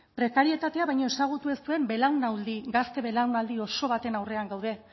prekarietatea baino ezagutu ez duen belaunaldi gazte belaunaldi oso baten aurrean gaude